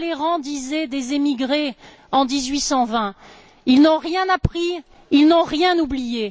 Talleyrand disait des émigrés en 1820 ils n'ont rien appris, ils n'ont rien oublié.